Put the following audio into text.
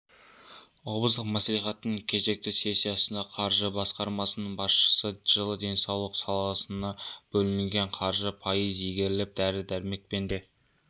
облыстық мәслихаттың кезекті сессиясында қаржы басқармасының басшысы жылы денсаулық салысына бөлінген қаржы пайыз игеріліп дәрі-дәрмекпен де